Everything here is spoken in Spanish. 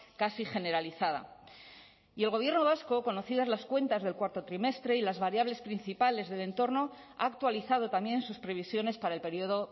casi generalizada y el gobierno vasco conocidas las cuentas del cuarto trimestre y las variables principales del entorno ha actualizado también sus previsiones para el periodo